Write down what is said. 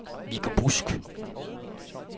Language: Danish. Viggo Busk